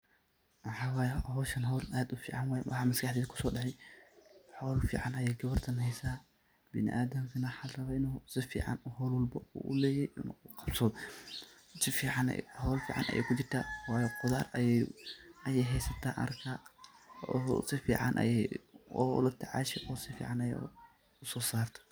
maxawaye hoshan hol aad u fican waye, maxa maskaxdey kusoo dacay hol fican ayay gabartan haysa biniadankana waxaa la rabaa inu si fican mar walbo u uleyahay u qabsado, si fican hol fican ayay kujirta wayo qudar ayay haysata ayan arka, oo si fican ayay ola tacasha oo si fican ayay uso sartaa